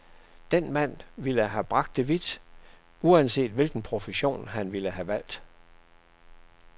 Den mand ville have bragt det vidt, uanset hvilken profession han ville have valgt.